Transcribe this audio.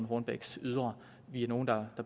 hornbechs ydre vi er nogle der